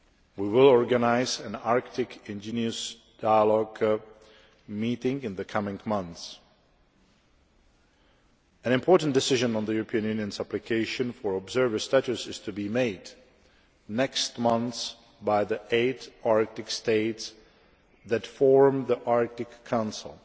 We will organise an Arctic indigenous dialogue meeting in the coming months. An important decision on the European Union's application for observer status is to be made next month by the eight Arctic states that form the Arctic Council